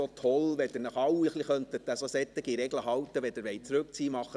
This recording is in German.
Es wäre toll, wenn Sie sich alle an solche Regeln halten könnten, wenn Sie zurückziehen wollen: